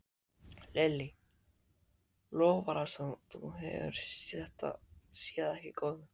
Lillý, lofar það sem þú hefur þegar séð ekki góðu?